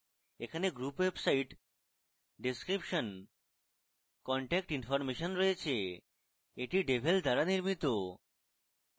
এখানে group website description contact information রয়েছে এটি devel দ্বারা নির্মিত